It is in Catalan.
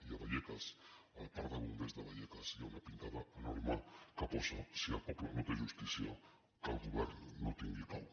i a vallecas al parc de bombers de vallecas hi ha una pintada enorme que posa si el poble no té justícia que el govern no tingui pau